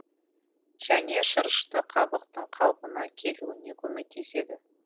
және шырышты қабықтың қалпына келуіне көмектеседі